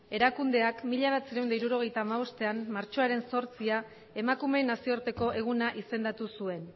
erakundeak mila bederatziehun eta hirurogeita hamabostean martxoaren zortzian emakumeen nazioarteko eguna izendatu zuen